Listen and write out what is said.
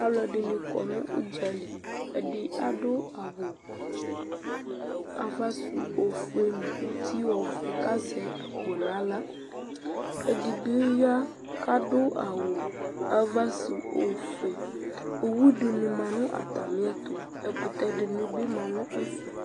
Aluɛdini kɔ nu udzali ɛdi adu awu ava su ofue uti ovɛ kazɛ akpo naɣla ɛdibi ya kadu awu ava su ofue owu dini ma nu atamiɛtu ɛkutɛ dini bi ma nu ɛfɛ